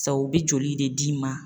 Sabu u bɛ joli de d'i ma